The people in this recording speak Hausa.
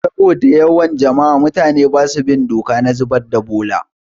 Saboda yawan jama'a, mutane basu bin doka na zubar da bola